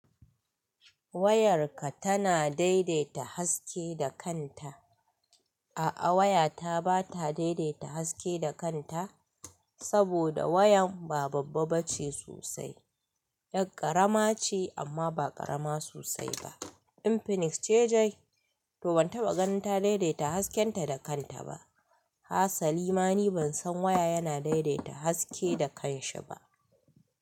Wayarka tana daidaita haske da kanta. A'a waya ta ba ta daidaita haske da kanta, saboda wayan ba babba ba ce sosai. Ƴa ƙarama ce amma ba ƙarama sosai ba. Infinix ce dai, to ban taɓa ganin ta daidaita hasken ta da kanta ba. Hasali ma ni ban san waya yana daidaita haske da kanshi ba.